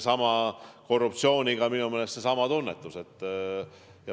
Korruptsiooniga on minu meelest seesama tunnetus.